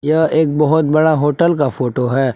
यह एक बहोत बड़ा होटल का फोटो है।